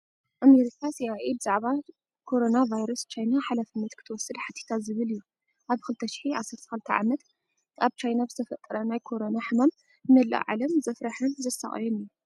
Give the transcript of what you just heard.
አሜሪካ ሲአይኤ ብዛዕባ ኮሮና ቫይረስ ቻይና ሓላፍነት ክትወስድ ሓቲታ ዝብል እዩ። ኣብ 2012 ዓ.ም ኣብ ቻይና ብዝተፈጠረ ናይ ኮሮና ሕማም ንመላእ ዓለም ዘፍረሓን ዘሳቀየን እዩ።